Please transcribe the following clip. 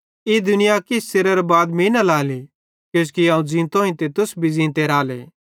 ई दुनिया किछ च़िरेरां बाद मीं न लाएली पन तुस मीं लांते राले किजोकि अवं ज़ींतोईं ते तुस भी ज़ींते राले